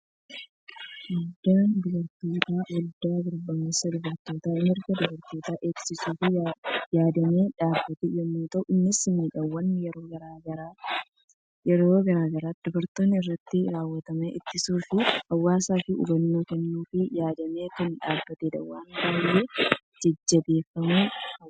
Waaldaan dubartootaa, waaldaa gurmaa'insa dubartootaa, mirga dubartootaa eegsisuuf yaadamee dhaabbate yemmuu ta'u, innis miidhaawwan yeroo gara yerootti dubartoota irratti raawwatamu ittisuu fi hawaasaaf hubannoo kennuuf yaadamee kan dhaabbatedha. Waan baayyee jajjabeeffamuu qabudha.